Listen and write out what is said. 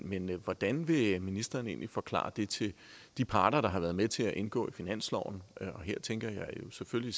men hvordan vil ministeren egentlig forklare det til de parter der har været med til at indgå finansloven og her tænker jeg selvfølgelig